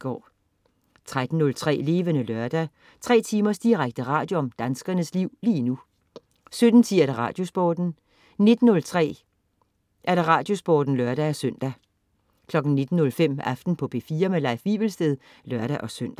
13.03 Levende Lørdag. 3 timers direkte radio om danskernes liv lige nu 17.10 Radiosporten 19.03 Radiosporten (lør-søn) 19.05 Aften på P4. Leif Wivelsted (lør-søn)